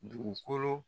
Dugukolo